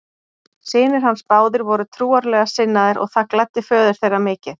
Synir hans báðir voru trúarlega sinnaðir og það gladdi föður þeirra mikið.